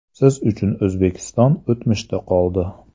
Siz uchun O‘zbekiston o‘tmishda qoldi.